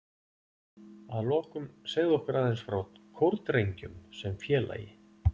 Að lokum segðu okkur aðeins frá Kórdrengjum sem félagi?